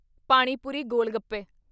ਪਾਣੀ ਪੁਰੀ (ਗੋਲ-ਗੱਪੇ)